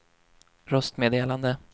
röstmeddelande